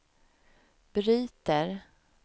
bryter